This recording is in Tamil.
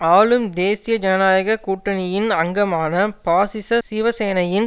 ஆளும் தேசிய ஜனநாயக கூட்டணியின் அங்கமான பாசிச சிவசேனையின்